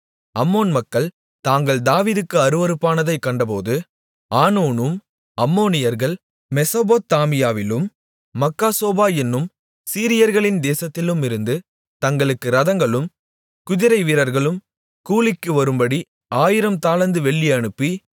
அம்மோன் மக்கள் தாங்கள் தாவீதுக்கு அருவருப்பானதைக் கண்டபோது ஆனூனும் அம்மோனியர்கள் மெசொப்பொத்தாமியாவிலும் மாக்காசோபா என்னும் சீரியர்களின் தேசத்திலுமிருந்து தங்களுக்கு இரதங்களும் குதிரை வீரர்களும் கூலிக்கு வரும்படி ஆயிரம் தாலந்து வெள்ளி அனுப்பி